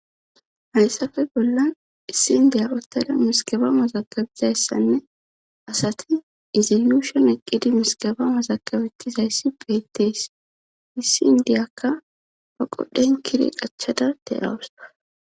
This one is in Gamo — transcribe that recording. Hayssafe bollan issi ndiya ottada miskaba mazakabizayssanne asati izoyushon eqqidi miskaba masakabeti hayssi beettees issi indiyakka pa qodhen kire qachada te'awus